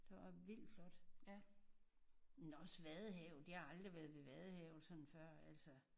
Der var vildt flot men også Vaddehavet jeg har aldrig været ved Vaddehavet sådan før altså